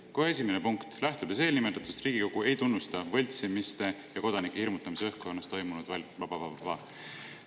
Kohe esimene punkt: lähtudes eelnimetatust, Riigikogu ei tunnusta võltsimiste ja kodanike hirmutamise õhkkonnas toimunud.